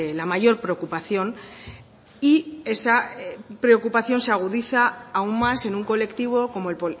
la mayor preocupación y esa preocupación se agudiza aún más en un colectivo como el